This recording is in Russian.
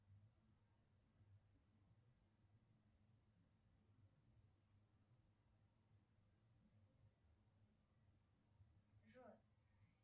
джой